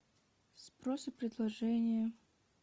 спрос и предложение